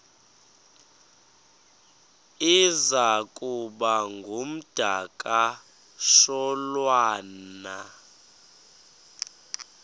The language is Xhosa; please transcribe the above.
iza kuba ngumdakasholwana